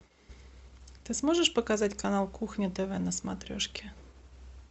ты сможешь показать канал кухня тв на смотрешке